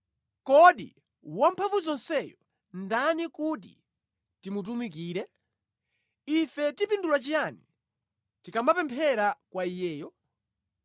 Kodi Wamphamvuzonseyo ndani kuti timutumikire? Ife tipindula chiyani tikamapemphera kwa Iyeyo?